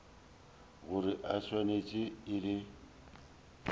gore e swanetše e le